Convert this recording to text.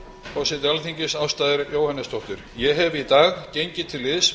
forseti alþingi ásta r jóhannesdóttir ég hef í dag gengið til liðs